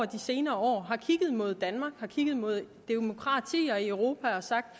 de senere år har kigget mod danmark og kigget mod demokratier i europa og har sagt